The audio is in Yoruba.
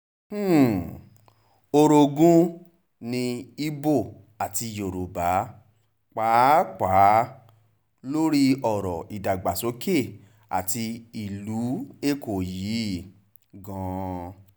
um orogun ní ibo àti yorùbá pàápàá lórí ọ̀rọ̀ ìdàgbàsókè àti ìlú èkó yìí gan-an um